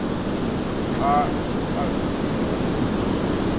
xa asikelwa ngoyise